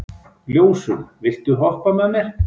Ljósunn, viltu hoppa með mér?